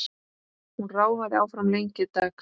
Hún ráfaði áfram lengi dags.